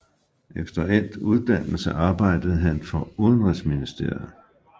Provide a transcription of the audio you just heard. Efter endt uddannelse arbejdede han for udenrigsministeriet